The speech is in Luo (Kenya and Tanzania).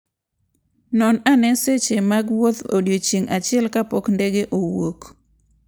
Non ane seche mag wuoth odiechieng' achiel kapok ndege owuok.